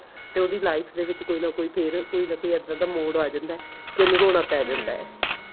ਤੇ ਉਹਦੀ life ਦੇ ਵਿੱਚ ਕੋਈ ਨਾ ਕੋਈ ਫੇਰ ਕੋਈ ਨਾ ਕੋਈ ਇੱਦਾਂ ਦਾ ਮੋੜ ਆ ਜਾਂਦਾ ਕੀ ਉਨੂੰ ਰੋਣਾ ਪੈ ਜਾਂਦਾ